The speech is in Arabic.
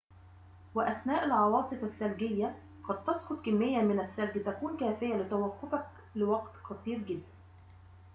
وأثناء العواصف الثلجية قد تسقط كمية من الثلج تكون كافية لتوقفك لوقت قصير جداً